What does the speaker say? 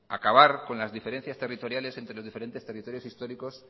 acabar con las diferencias territoriales entre los diferentes territorios históricos